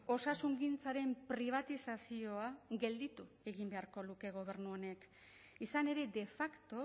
osasungintzaren pribatizazioa gelditu egin beharko luke gobernu honek izan ere de facto